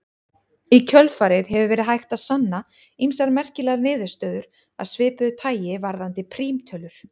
Í kjölfarið hefur verið hægt að sanna ýmsar merkilegar niðurstöður af svipuðu tagi varðandi prímtölur.